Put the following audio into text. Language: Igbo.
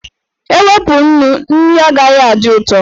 E wepụ nnu, nri agaghị adị ụtọ.